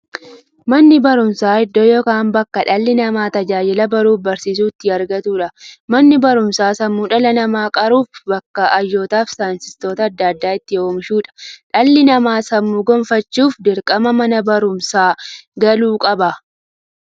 Manni baruumsaa iddoo yookiin bakkee dhalli namaa tajaajila baruufi barsiisuu itti argatuudha. Manni baruumsaa sammuu dhala namaa qaruufi bakka hayyootafi saayintistoota adda addaa itti oomishuudha. Dhalli namaa sammuun gufachuuf, dirqama Mana baruumsaa galuu qaba.